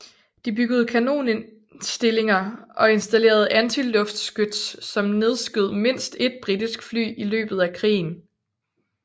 De byggede kanonstillinger og installerede antiluftskyts som nedskød mindst et britisk fly i løbet af krigen